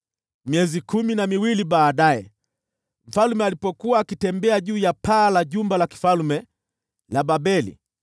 Miezi kumi na miwili baadaye, mfalme alipokuwa akitembea juu ya paa la jumba la kifalme la Babeli,